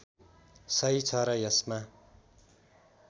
सही छ र यसमा